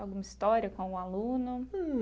Alguma história com algum aluno?